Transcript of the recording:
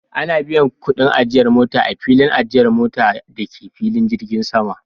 Ana biyan kudin ajiyar mota a filin ajiyar mota da ke filin jirgin sama